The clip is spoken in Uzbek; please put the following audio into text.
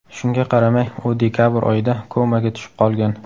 Shunga qaramay, u dekabr oyida komaga tushib qolgan.